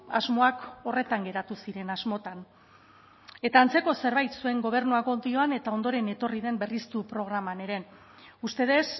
asmoak horretan geratu ziren asmotan eta antzeko zerbait zuen gobernu akordioan eta ondoren etorri den berriztu programan ere ustedes